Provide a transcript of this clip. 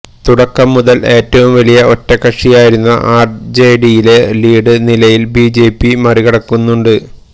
തുടക്കം മുതൽ ഏറ്റവും വലിയ ഒറ്റകക്ഷിയായിരുന്ന ആർ ജെ ഡിയെ ലീഡ് നിലയിൽ ബി ജെ പി മറികടക്കുന്നുണ്ട്